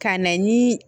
Ka na ni